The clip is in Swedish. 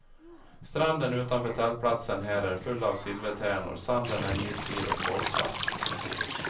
Stranden utanför tältplatsen här är full av silvertärnor, sanden är milsvid och kolsvart.